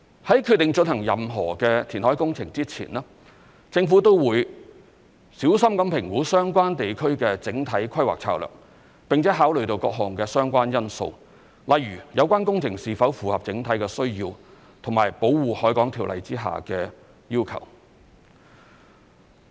在決定進行任何填海工程前，政府都會小心評估相關地區的整體規劃策略，並考慮各項相關因素，例如有關工程是否符合整體需要和《條例》下的要求。